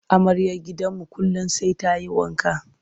Amaryar gidanmu kullum sai ta yi wanka.